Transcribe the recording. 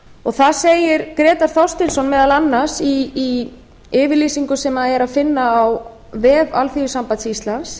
var þar segir grétar þorsteinsson meðal annars í yfirlýsingu sem er finna á vef alþýðusambands íslands